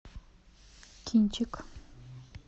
кинчик